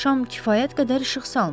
Şam kifayət qədər işıq salmır.